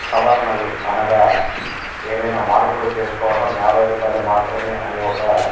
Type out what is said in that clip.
సవరణలు అనగా ఏవైన మార్పులు చేసుకోవడం యాబై రూపాయలు మాత్రమే అని ఒక --